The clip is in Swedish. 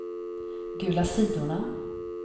gula sidorna